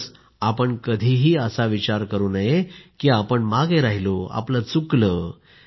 म्हणूनच आपण कधीही असा विचार करू नये की आपण मागे राहिलो आपलं चुकलं